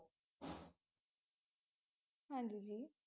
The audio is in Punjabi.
ਹਾਂਜੀ ਜੀ